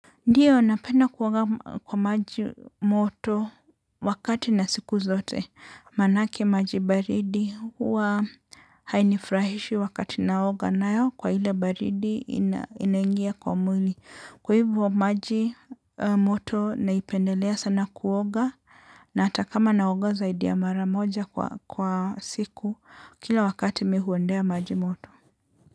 Ndiyo, napenda kuoga kwa maji moto wakati na siku zote, maana ake maji baridi huwa hainifurahishi wakati naoga nayo kwa ile baridi inaingia kwa mwili. Kwa hivyo, maji moto naipendelea sana kuoga na hata kama naoga zaidi ya mara moja kwa siku kila wakati mi huendea maji moto.